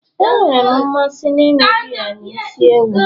Enwere m mmasị n'ịṅụ biya na isi ewu